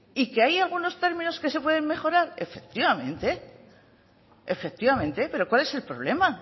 y que hay algunos términos que se pueden mejorar efectivamente pero cuál es el problema